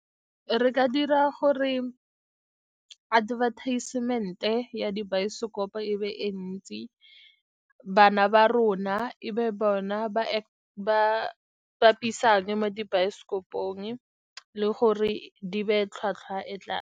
Re ka dira gore advertisement-e ya dibaesekopo e be e ntsi, bana ba rona e be bona ba bapisang mo dibaesekopong, le gore di be tlhwatlhwa e .